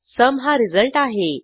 sum हा result आहे